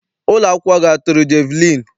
Ụlọakwụkwọ gị atụrụ jeviliini?